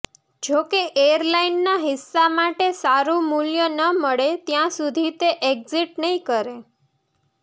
જોકે એરલાઇનના હિસ્સા માટે સારું મૂલ્ય ન મળે ત્યાં સુધી તે એક્ઝિટ નહીં કરે